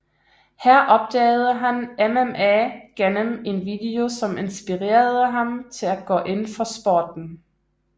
Her opdagede han MMA gennem en video som inspirerede ham til at gå ind for sporten